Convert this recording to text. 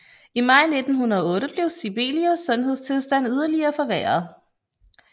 I maj 1908 blev Sibelius sundhedstilstand yderligere forværret